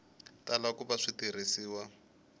tala ku va swi tirhisiwa